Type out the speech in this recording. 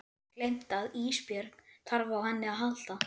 Gleymt að Ísbjörg þarf á henni að halda.